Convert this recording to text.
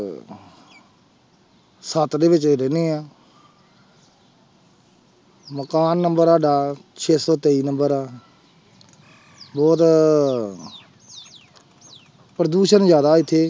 ਸੱਤ ਦੇ ਵਿੱਚ ਅਸੀਂ ਰਹਿੰਦੇ ਹਾਂ ਮਕਾਨ number ਸਾਡਾ ਛੇ ਸੌ ਤੇਈ number ਆ ਹੋਰ ਪ੍ਰਦੂਸ਼ਣ ਜ਼ਿਆਦਾ ਇੱਥੇ।